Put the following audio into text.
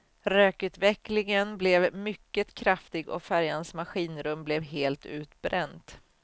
Rökutvecklingen blev mycket kraftig och färjans maskinrum blev helt utbränt.